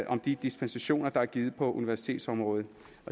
om de dispensationer der er givet på universitetsområdet